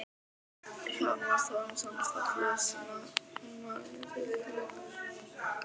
Hjálmar Þórarinsson Fallegasti knattspyrnumaðurinn í deildinni?